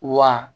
Wa